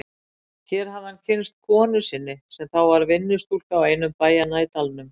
Hér hafði hann kynnst konu sinni sem þá var vinnustúlka á einum bæjanna í dalnum.